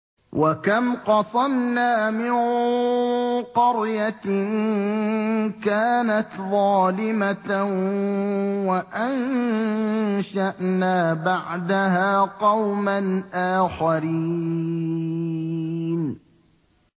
وَكَمْ قَصَمْنَا مِن قَرْيَةٍ كَانَتْ ظَالِمَةً وَأَنشَأْنَا بَعْدَهَا قَوْمًا آخَرِينَ